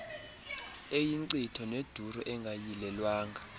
eyinkcitho neduru engayilelwanga